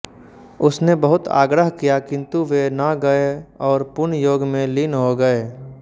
उसने बहुत आग्रह किया किंतु वे न गए और पुन योग में लीन हो गए